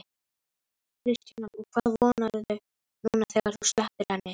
Kristjana: Og hvað vonarðu núna þegar þú sleppir henni?